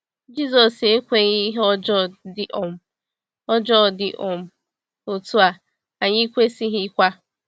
Jisọs ekweghị ihe ọjọọ dị um ọjọọ dị um otu a, anyị kwesịghịkwa.